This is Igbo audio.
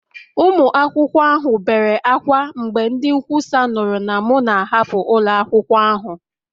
Ụmụ akwụkwọ ahụ bere ákwá mgbe ndị nkwusa nụrụ na m na-ahapụ ụlọ akwụkwọ ahụ